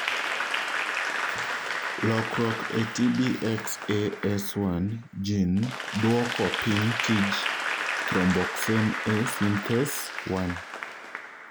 lokruok e TBXAS1 gene duoko piny tij thromboxane A synthase 1.